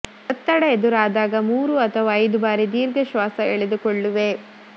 ಒತ್ತಡ ಎದುರಾದಾಗ ಮೂರು ಅಥವಾ ಐದು ಬಾರಿ ದೀರ್ಘ ಶ್ವಾಸ ಎಳೆದುಕೊಳ್ಳುವೆ